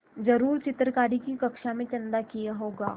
ज़रूर चित्रकारी की कक्षा ने चंदा किया होगा